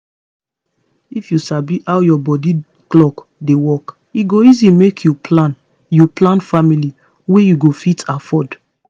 if you sabi how your body clock dey work e go easy make you plan you plan family wey you go fit afford